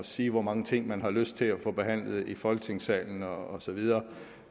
sige hvor mange ting man har lyst til at få behandlet i folketingssalen og så videre